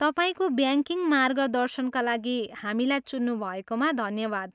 तपाईँको ब्याङ्किङ मार्गदर्शनका लागि हामीलाई चुन्नुभएकोमा धन्यवाद।